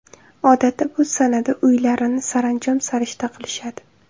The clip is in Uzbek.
Odatda bu sanada uylarini saranjom-sarishta qilishadi.